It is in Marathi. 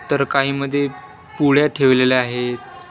तर काहीमध्ये पुढ्या ठेवलेल्या आहेत.